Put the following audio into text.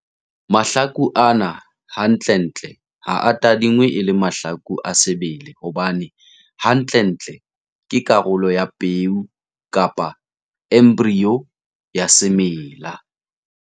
Mahlaku ana hantlentle ha a tadingwe e le mahlaku a sebele hobane hantlentle ke karolo ya peo kapa embryo ya semela.